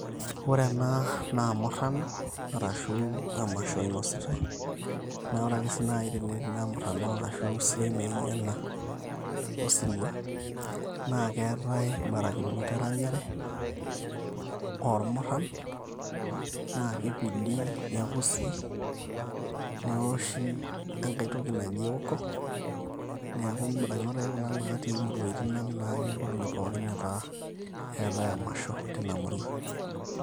ore ena naa murrano, arashu emasho inositae naa ore ake sii naaji tenetii ina murrano ashu esiai naijo ena osirua, naa keetae imbarakinot eranyare ormurran naa kipidi nekusi newoshi enkae toki naji ewoko niaku imbarakinot ake kuna natii imuruaitin ang' naake inkolong'i pookin netaa eetae emasho tina murua.